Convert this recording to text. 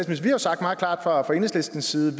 har jo sagt meget klart fra enhedslistens side